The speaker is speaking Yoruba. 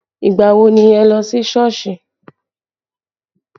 Ìgbà wo ni ẹ lọ sí Sọ́ọ̀sì?